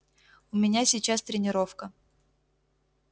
у меня сейчас тренировка